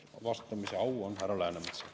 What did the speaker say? Vastamise au on härra Läänemetsal.